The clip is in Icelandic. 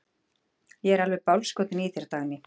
Ég er alveg bálskotinn í þér, Dagný!